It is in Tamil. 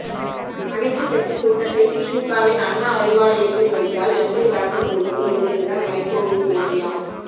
அனைத்து கட்சி கூட்டத்தை திமுகவின் அண்ணா அறிவாலயத்தில் வைத்தால் எப்படி கலந்து கொள்வது என்பதுதான் வைகோவின் கேள்வியாம்